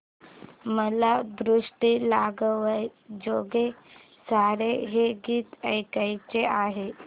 मला दृष्ट लागण्याजोगे सारे हे गीत ऐकायचे आहे